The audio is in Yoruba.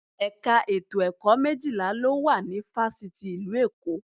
Ẹ̀ka ètò ẹ̀kọ́ méjìlá ló wà ní Fáṣítì ìlú Èkó